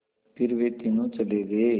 फिर वे तीनों चले गए